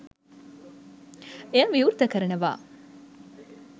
එය විවෘත කරනවා.